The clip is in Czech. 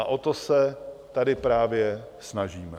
A o to se tady právě snažíme.